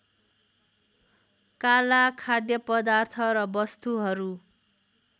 काला खाद्यपदार्थ र वस्तुहरू